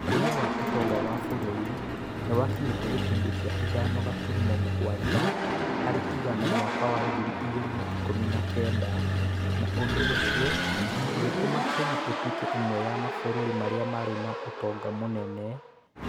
Ũkũria wa ũtonga wa bũrũri nĩ wakinyĩte gĩcunjĩ kĩa ithano gaturumo mugwanja harĩ igana mwaka wa ngiri igĩrĩ na ikũmi na kenda, na ũndũ ũcio ũgĩtũma Kenya ĩtuĩke ĩmwe ya mabũrũri marĩa marĩ na ũtonga mũnene